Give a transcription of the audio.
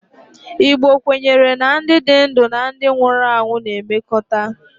Igbo kwenyere na ndi di ndu na ndi nwuru anwụ na-emekọta